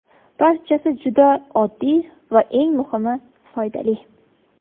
Barchasi juda oddiy va eng muhimi - foydali!